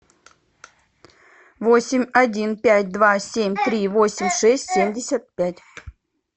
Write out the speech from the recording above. восемь один пять два семь три восемь шесть семьдесят пять